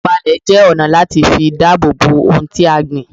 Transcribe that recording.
Pípá ààlè jẹ́ ọ̀nà láti fi dáàbòbò ohun tí a gbìn